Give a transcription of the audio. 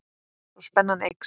Svo spennan eykst.